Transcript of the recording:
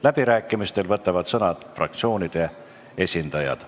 Läbirääkimistel saavad sõna fraktsioonide esindajad.